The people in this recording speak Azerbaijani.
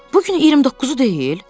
Bu gün 29-u deyil?